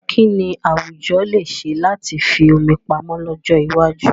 Kí ni àwùjọ lè ṣe láti fi omi pamọ́ lọ́jọ́ iwájú?